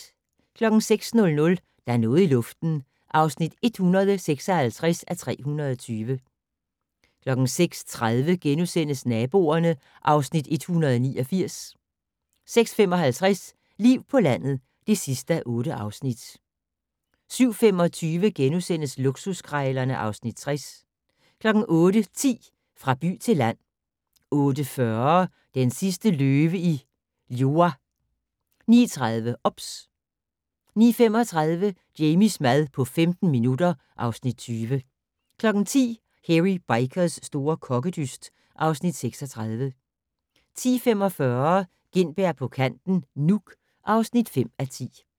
06:00: Der er noget i luften (156:320) 06:30: Naboerne (Afs. 189)* 06:55: Liv på landet (8:8) 07:25: Luksuskrejlerne (Afs. 60)* 08:10: Fra by til land 08:40: Den sidste løve i Liuwa 09:30: OBS 09:35: Jamies mad på 15 minutter (Afs. 20) 10:00: Hairy Bikers' store kokkedyst (Afs. 36) 10:45: Gintberg på kanten - Nuuk (5:10)